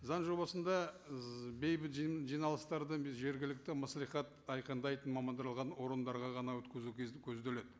заң жобасында бейбіт жиналыстарды жергілікті мәслихат айқындайтын орындарға ғана өткізу көзделеді